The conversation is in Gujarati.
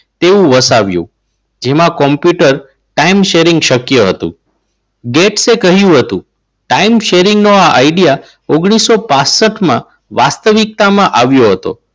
તેવું વસાવ્યું. એમાં કોમ્પ્યુટર time sharing શક્ય હતું ગેટ સે કહ્યું હતું. time sharing નો આઈડિયા ઓગણીસો પાસઠમાં વાસ્તવિકતામાં આવ્યો હતો.